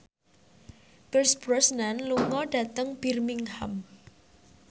Pierce Brosnan lunga dhateng Birmingham